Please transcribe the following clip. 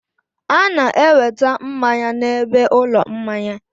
A na-eweta mmanya n'ebe ụlọ mmanya.